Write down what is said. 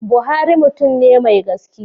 Buhari mutum ne mai gaskiya.